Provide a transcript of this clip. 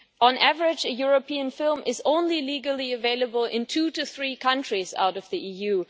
On average, a European film is only legally available in two to three countries outside the EU.